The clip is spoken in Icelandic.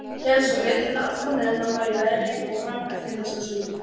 Hélst svo veturinn allan meðan hann var í veri og fram eftir næsta sumri.